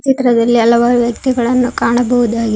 ಇದರ ವೆಲಿ ಹಲವಾರ ವ್ಯಕ್ತಿಗಳನ್ನ ಕಾಣಬಹುದಾಗಿದೆ.